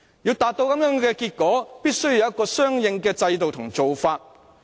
要達致這樣的結果，必須有相應的制度和做法。